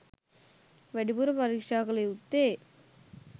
වැඩිපුර පරීක්ෂා කළ යුත්තේ